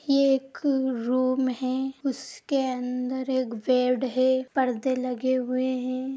ये एक रूम है उसके अंदर एक बेड है परदे लगे हुए हैं।